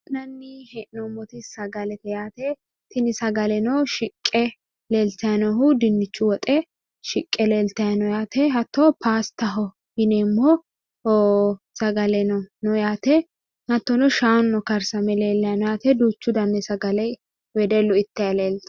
La'nanni hee'noommoti sagakete yaate. Tuni sagaleno shiqqe leeltayi noohu dinnichu woxe shiqqe leeltati no yaate hattino pastaho yinanni sagaleno no yaate hattono shaanuno no yaate hattono. wedellu ittayi no yaate.